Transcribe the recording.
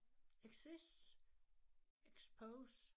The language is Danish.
Exist expose